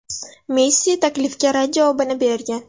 Messi taklifga rad javobini bergan.